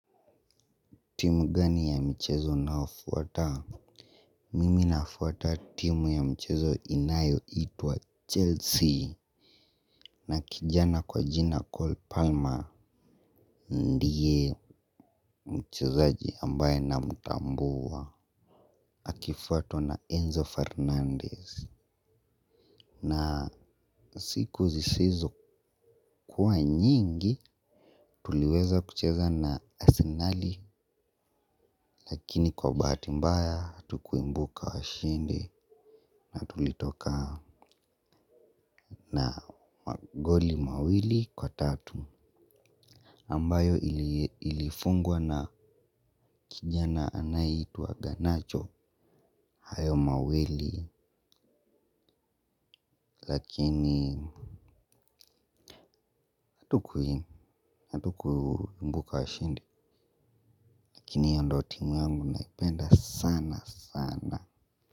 Timu gani ya michezo naofuata? Mimi nafuata timu ya michezo inayoitwa Chelsea. Na kijana kwa jina Cole Palmer Ndiye mchezaji ambaye namtambua akifuatwa na Enzo Fernandez Na siku zisizokuwa nyingi tuliweza kucheza na Arsenali. Lakini kwa bahati mbaya hatukuibuka washindi na tulitoka. Na magoli mawili kwa tatu ambayo ilifungwa na kijana anayeitwa wa ganacho. Hayo mawili lakini hatukuibuka washindi. Lakini hiyo ndio timu yangu naipenda sana sana.